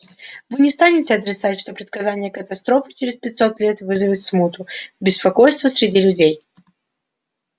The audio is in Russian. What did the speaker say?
вы не станете отрицать что предсказание катастрофы через пятьсот лет вызовет смуту беспокойство среди людей